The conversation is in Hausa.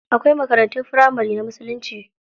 Akwai makarantun firamari na musulunci.